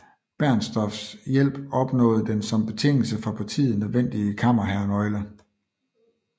Bernstorffs hjælp opnået den som betingelse for partiet nødvendige kammerherrenøgle